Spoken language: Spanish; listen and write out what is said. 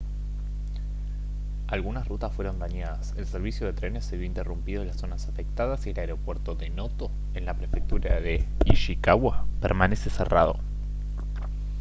algunas rutas fueron dañadas el servicio de trenes se vio interrumpido en las zonas afectadas y el aeropuerto de noto en la prefectura de ishikawa permanece cerrado